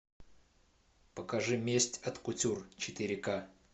покажи месть от кутюр четыре ка